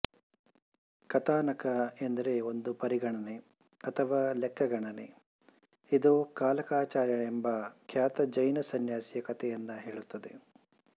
ಕಥಾನಕ ಎಂದರೆ ಒಂದು ಪರಿಗಣನೆ ಅಥವಾ ಲೆಕ್ಕಗಣನೆ ಇದು ಕಾಲಕಾಚಾರ್ಯ ಎಂಬ ಖ್ಯಾತ ಜೈನ ಸನ್ಯಾಸಿಯ ಕಥೆಯನ್ನು ಹೇಳುತ್ತದೆ